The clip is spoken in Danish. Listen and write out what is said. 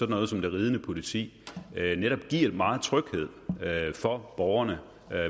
noget som det ridende politi netop giver meget tryghed for borgerne